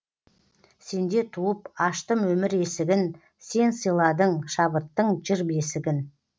сенде туып аштым өмір есігін сен сыйладың шабыттың жыр бесігін